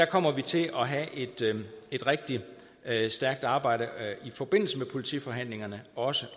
kommer til at have et rigtig stærkt arbejde i forbindelse med politiforhandlingerne også